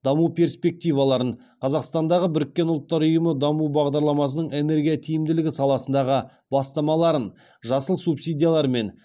даму перспективаларын қазақстандағы біріккен ұлттар ұйымы даму бағдарламасының энергия тиімділігі саласындағы бастамаларын жасыл субсидиялар мен